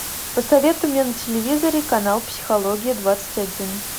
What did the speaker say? посоветуй мне на телевизоре канал психология двадцать один